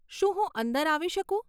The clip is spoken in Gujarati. શું હું અંદર આવી શકું?